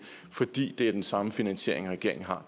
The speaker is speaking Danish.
fordi det er den samme finansiering regeringen har